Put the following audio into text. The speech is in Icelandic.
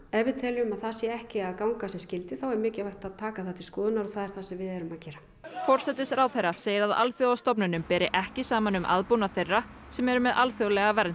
ef við teljum að það sé ekki að ganga sem skyldi þá er mikilvægt að taka það til skoðunar og það er það sem við erum að gera forsætisráðherra segir að alþjóðastofnunum beri ekki saman um aðbúnað þeirra sem eru með alþjóðlega vernd